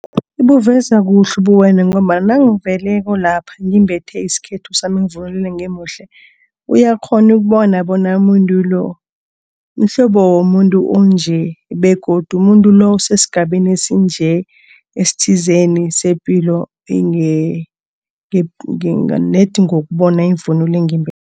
Ibuveza kuhle ubuwena ngombana nangeveleko lapha ngimbethe isikhethu sami, ngivunulile ngimuhle. Uyakghona ukubona bona umuntu lo mhlobo womuntu onje begodu umuntu lo usesigabeni esinje, esithizeni sepilo nedi ngokubona ivunulo engimbetheko.